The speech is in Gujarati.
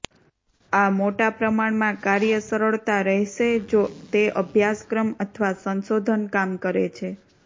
આ મોટા પ્રમાણમાં કાર્ય સરળતા રહેશે જો તે અભ્યાસક્રમ અથવા સંશોધન કામ કરે છે